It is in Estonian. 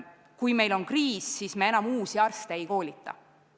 Kui meil on kriis, siis me enam uusi arste ei koolita.